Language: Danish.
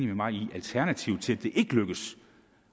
med mig i at alternativet til at det ikke lykkes